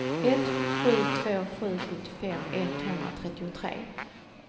ett sju två sju sjuttiofem etthundratrettiotre